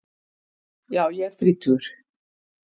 Já ég er þrítugur.